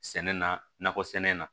Sɛnɛ nakɔ sɛnɛ in na